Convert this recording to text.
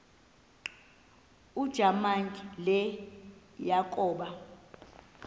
ujamangi le yakoba